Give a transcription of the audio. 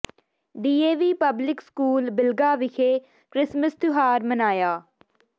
D A V public school Bilga ਵਿਖੇ Christmas ਤਿਉਹਾਰ ਮਨਾਇਆ